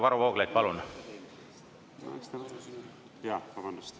Varro Vooglaid, palun!